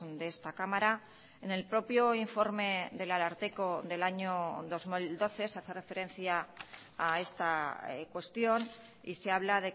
de esta cámara en el propio informe del ararteko del año dos mil doce se hace referencia a esta cuestión y se habla